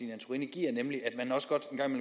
nemlig at